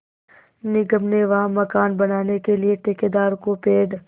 निगम ने वहाँ मकान बनाने के लिए ठेकेदार को पेड़